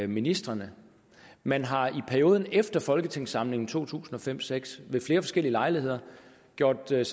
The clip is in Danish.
ministrene man har i perioden efter folketingssamlingen to tusind og fem seks ved flere forskellige lejligheder gjort sig